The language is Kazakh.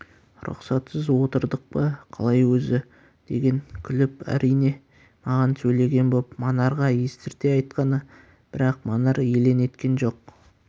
рұқсатсыз отырдық па қалай өзі деген күліп әрине маған сөйлеген боп манарға естірте айтқаны бірақ манар елең еткен жоқ